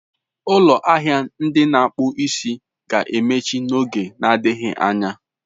Ụlọ ahịa ndị na-akpụ isi ga-emechi n'oge na-adịghị anya.